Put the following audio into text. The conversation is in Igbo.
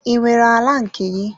I nwere ala nke gị?